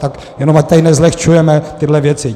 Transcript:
Tak jenom ať tady nezlehčujeme tyhle věci.